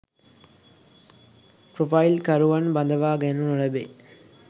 Profile කරුවන් බදවා ගනු නොලැබේ.